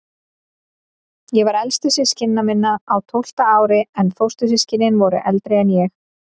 Ég var elstur systkina minna, á tólfta ári, en fóstur- systkinin voru eldri en ég.